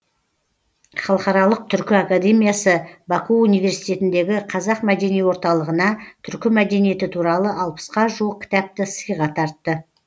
халықаралық түркі академиясы баку университетіндегі қазақ мәдени орталығына түркі мәдениеті туралы алпысқа жуық кітапты сыйға тартты